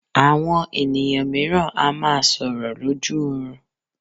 Àwọn ènìyàn mìíràn a máa sọlrọ̀ lójú oorun.